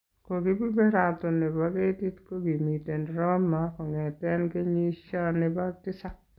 Kobeberaton nebo ketiit kokimiten Roma kong'eteen kenyisya nebo tisap